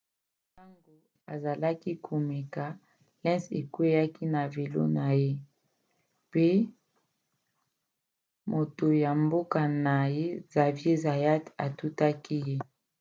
ntango azalaki komeka lenz akweaki na velo na ye pe moto ya mboka na ye xavier zayat atutaki ye